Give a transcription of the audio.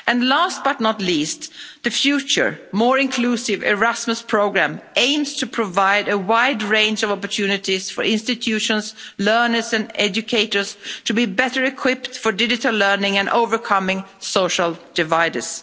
Last but not least, the future, more inclusive Erasmus Programme aims to provide a wide range of opportunities for institutions, learners and educators to be better equipped for digital learning and for overcoming social dividers.